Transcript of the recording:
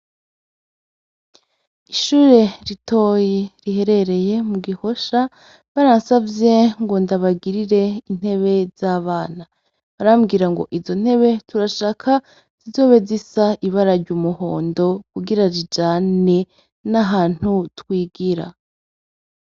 Ishure ritoyi riherereye mugihosha baransavye ngo ndabagirire intebe z' abana barambwira ngo izo ntebe turashaka zizobe zisa ibara ry' umuhondo kugira zijane n'ahantu twigira.